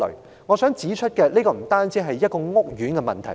主席，我想指出這不單是一個屋苑的問題。